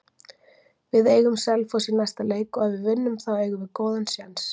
Við eigum Selfoss í næsta leik og ef við vinnum þá eigum við góðan séns.